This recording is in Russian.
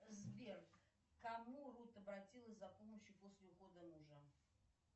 сбер к кому рут обратилась за помощью после ухода мужа